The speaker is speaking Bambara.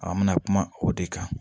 An bɛna kuma o de kan